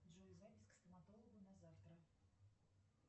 джой запись к стоматологу на завтра